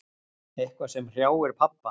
Eitthvað sem hrjáir pabba.